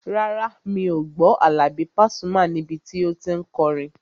Rárá, mi ò gbọ́ Àlàbí Pasuma níbi tí o tí n kọrin